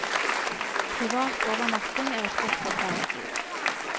Privat overnatting er et godt alternativ.